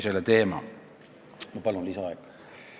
Ma palun lisaaega!